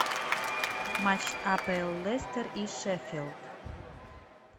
матч апл лестер и шеффилд